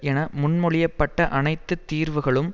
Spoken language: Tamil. என முன்மொழிய பட்ட அனைத்து தீர்வுகளும்